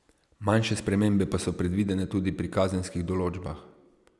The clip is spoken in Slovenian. Manjše spremembe pa so predvidene tudi pri kazenskih določbah.